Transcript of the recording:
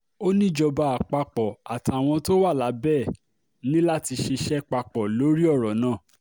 ó níjọba àpapọ̀ àtàwọn tó wà lábẹ́ ẹ̀ ní láti ṣiṣẹ́ papọ̀ lórí ọ̀rọ̀ náà